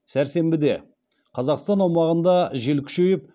сәрсенбіде қазақстан аумағында жел күшейіп